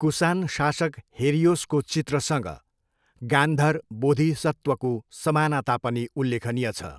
कुसान शासक हेरियोसको चित्रसँग गान्धर बोधिसत्वको समानता पनि उल्लेखनीय छ।